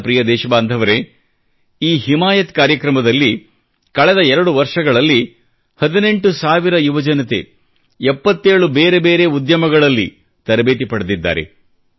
ನನ್ನ ಪ್ರಿಯ ದೇಶಬಂಧವರೆ ಈ ಹಿಮಾಯತ್ ಕಾರ್ಯಕ್ರಮದಲ್ಲಿ ಕಳೆದ 2 ವರ್ಷಗಳಲ್ಲಿ 18 ಸಾವಿರ ಯುವಜನತೆ 77 ಬೇರೆ ಬೇರೆ ಉದ್ಯಮಗಳಲ್ಲಿ ತರಬೇತಿ ಪಡೆದಿದ್ದಾರೆ